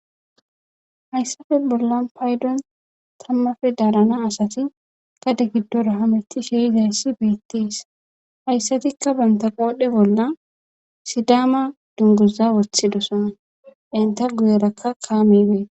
Hayssafe bolla paydon tammafe daalana asati kade giddora hamiti sheizaessi beettiis hayssatikka banta qoodhe bolla sidaama dunguza wothidosan enta guyeraka kaa mibee.